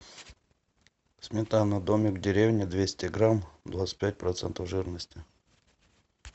сметана домик в деревне двести грамм двадцать пять процентов жирности